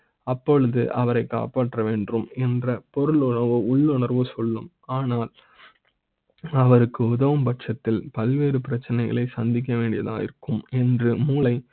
அப்போது அவரை காப்பாற்ற வேண்டும் என்ற பொருள் ஒரு உள்ளுணர்வு சொல்லும். ஆனால் அவருக்கு உதவு ம் பட்சத்தில் பல்வேறு பிரச்சனைகளை சந்திக்க வேண்டியிருக்கும் என்று மூளை